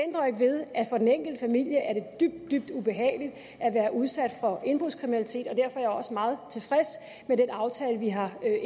for den enkelte familie er dybt dybt ubehageligt at blive udsat for indbrudskriminalitet og derfor er jeg også meget tilfreds med den aftale vi har